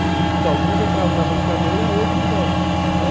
Então, alguns entravam na brincadeira, outros não.